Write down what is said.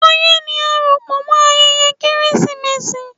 Ọyẹ́ ní àsopọ̀ mọ ayẹyẹ Kérésìmesì.